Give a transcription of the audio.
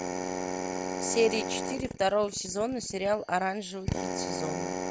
серия четыре второго сезона сериал оранжевый хит сезона